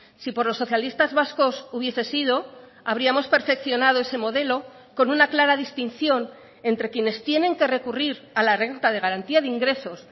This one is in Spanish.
si por los socialistas vascos hubiese sido habríamos perfeccionado ese modelo con una clara distinción entre quienes tienen que recurrir a la renta de garantía de ingresos